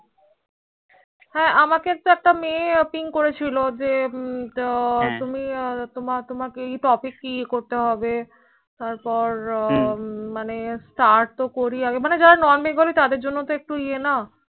হ্য়াঁ আমাকে একটা মেয়ে ping করেছিল যে তুমি তোমাকে টপিক করতে হবে তার পর start তো করি আগে মানে যারা Non Bengali তাদের জন্য একটু এ না